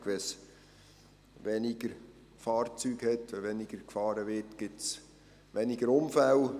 Wenn es weniger Fahrzeuge gibt, wenn weniger gefahren wird, gibt es weniger Unfälle.